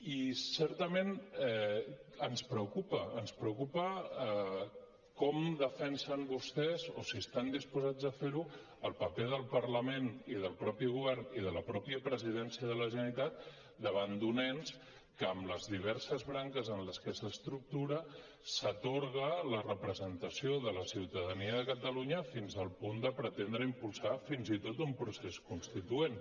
i certament ens preocupa ens preocupa com defensen vostès o si estan dispo·sats a fer·ho el paper del parlament i del mateix govern i de la mateixa presidència de la generalitat davant d’un ens que en les diverses branques en les que s’estructu·ra s’atorga la representació de la ciutadania de catalunya fins al punt de pretendre impulsar fins i tot un procés constituent